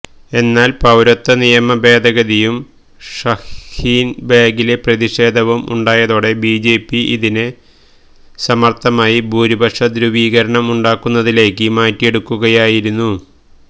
എന്നാല് പൌരത്വ നിയമ ഭേദഗതിയും ഷഹീന്ബാഗിലെ പ്രതിഷേധവും ഉണ്ടായതോടെ ബിജെപി ഇതിനെ സമര്ത്ഥമായി ഭൂരിപക്ഷ ധ്രുവീകരണം ഉണ്ടാക്കുന്നതിലേക്ക് മാറ്റിയെടുക്കുകയായിരുന്നു